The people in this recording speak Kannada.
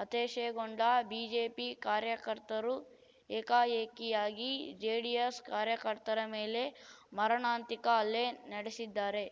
ಹತಾಶೆಗೊಂಡ ಬಿಜೆಪಿ ಕಾರ್ಯಕರ್ತರು ಏಕಾಏಕಿಯಾಗಿ ಜೆಡಿಎಸ್‌ ಕಾರ್ಯಕರ್ತರ ಮೇಲೆ ಮರಣಾಂತಿಕ ಹಲ್ಲೆ ನಡೆಸಿದ್ದಾರೆ